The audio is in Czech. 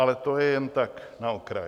Ale to je jen tak na okraj.